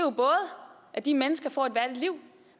er de mennesker får et værdigt liv